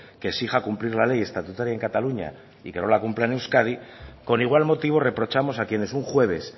que exija cumplir la ley estatutaria en cataluña y que no la cumpla en euskadi con igual motivo reprochamos a quienes un jueves